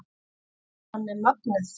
Spennan er mögnuð.